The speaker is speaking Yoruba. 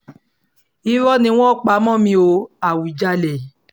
irọ́ ni wọ́n pa mọ́ mi o àwùjalè